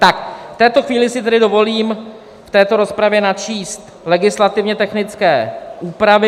Tak v této chvíli si tedy dovolím v této rozpravě načíst legislativně technické úpravy.